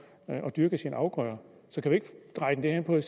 at dyrke sine afgrøder så kan vi ikke dreje den